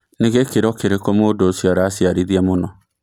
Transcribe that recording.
nĩ gĩkiro kĩrikũ mũndũ ũcĩo aracĩarĩthia mũno